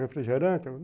Refrigerante?